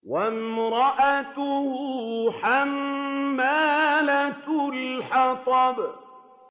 وَامْرَأَتُهُ حَمَّالَةَ الْحَطَبِ